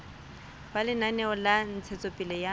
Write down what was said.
ba lenaneo la ntshetsopele ya